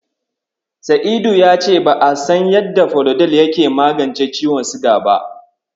Sa'idu ya ce ba'a san yadda Falodel yake magance ciwon siga ba.